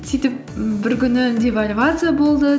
сөйтіп м бір күні девальвация болды